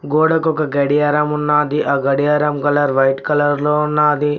గోడకు ఒక గడియారం ఉన్నది ఆ గడియారం కలర్ వైట్ కలర్ లో ఉన్నది.